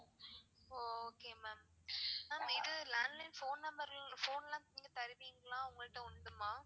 ஒ okay ma'am ma'am இது landline phone number phone லான் நீங்க தருவீங்களா உங்கள்ட்ட உண்டுமா?